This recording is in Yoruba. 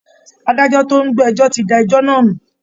Adájọ́ tó ń gbọ́ ẹjọ́ ti da ẹjọ́ náà nù